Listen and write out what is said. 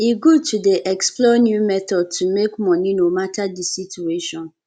e good to dey explore new methods to make money no matter di situation